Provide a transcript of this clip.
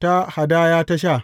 ta hadaya ta sha.